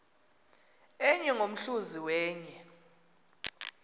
enye ngomhluzi wenye